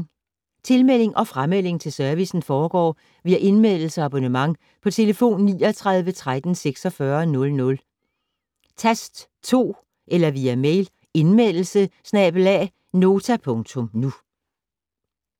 Tilmelding og framelding til servicen foregår via Indmeldelse og abonnement på telefon 39 13 46 00, tast 2 eller via mail: indmeldelse@nota.nu